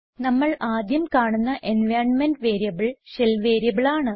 നമ്മൾ ആദ്യം കാണുന്ന എൻവൈറൻമെന്റ് വേരിയബിൾ ഷെൽ വേരിയബിളാണ്